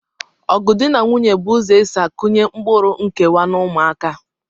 Ọgụ dị na nwunye bụ ụzọ e si akụnye mkpụrụ nkewa n'ụmụaka